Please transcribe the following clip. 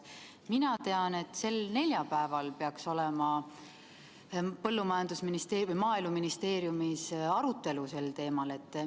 Mina tean, et neljapäeval peaks olema Maaeluministeeriumis sel teemal arutelu.